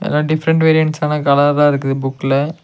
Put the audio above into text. எல்லா டிஃபரென்ட் வேரியன்ட்ஸான கலர்லா இருக்குது புக்ல .